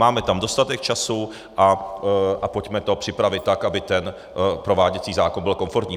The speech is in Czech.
Máme tam dostatek času a pojďme to připravit tak, aby ten prováděcí zákon byl komfortní.